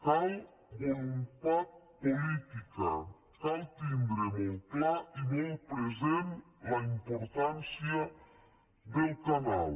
cal voluntat política cal tindre molt clara i molt present la importància del canal